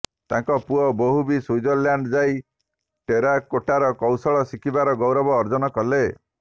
ତାଙ୍କ ପୁଅ ବୋହୂ ବି ସୁଇଜରଲାଣ୍ଡ୍ ଯାଇ ଟେରାକୋଟାର କୌଶଳ ଶିଖିବାର ଗୌରବ ଅର୍ଜନ କଲେ